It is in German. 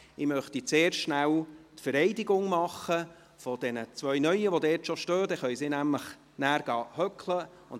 Deshalb möchte ich zuerst die Vereidigung der zwei neuen Mitglieder vornehmen, die bereits hier stehen, sodass sie danach Platz nehmen können.